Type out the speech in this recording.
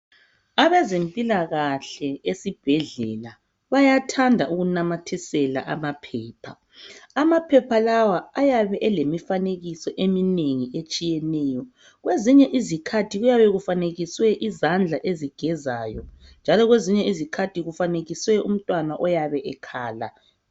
Abezempilakahle esibhedlela, bayathanda ukunamathisela amaphepha. Amaphepha lawa ayabe elemifanekiso eminengi, etshiyeneyo. Kwezinye izikhathi kuyabe kufanekiswe izandla, ezigezayo, njalo kwezinye isikhathi kufanekiswe umntwana oyabe ekhala.